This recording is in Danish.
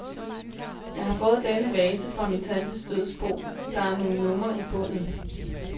Jeg har fået denne vase fra min tantes dødsbo, der er nogle numre i bunden.